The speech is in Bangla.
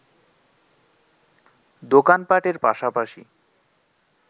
দোকান পাটের পাশাপাশি